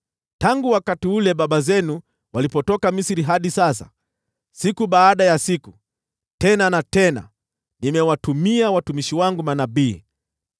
Tangu wakati ule baba zenu walipotoka Misri hadi sasa, siku baada ya siku, tena na tena nimewatumia watumishi wangu manabii.